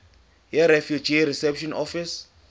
yirefugee reception office